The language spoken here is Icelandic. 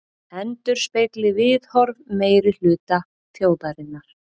Endurspegli viðhorf meirihluta þjóðarinnar